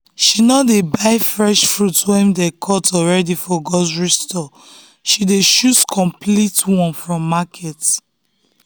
she no dey buy fruit wey dem cut already for grocery store she dey choose complete one from market.